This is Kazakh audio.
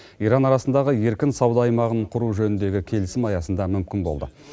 иран арасындағы еркін сауда аймағын құру жөніндегі келісім аясында мүмкін болды